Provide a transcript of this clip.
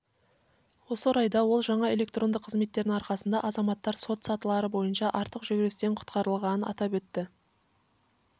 осы орайда ол жаңа электронды қызметтердің арқасында азаматтар сот сатылары бойынша артық жүгірістен құтқарылғанын атап өтті